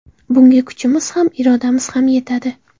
Bunga kuchimiz ham, irodamiz ham yetadi.